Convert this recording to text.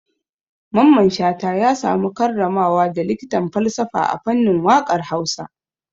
Mamman Shata ya samu karramawa da likitan falsafa a fannin waƙar Hausa.